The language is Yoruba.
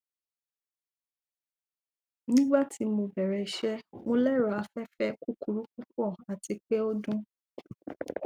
nigbati mo bẹrẹ iṣẹ mo lero afẹfẹ kukuru pupọ ati pe o dun